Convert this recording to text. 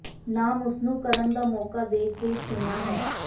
ਨਾਮ ਉਸ ਨੂੰ ਕਰਨ ਦਾ ਮੌਕਾ ਦੇ ਕੇ ਚੁਣਿਆ ਹੈ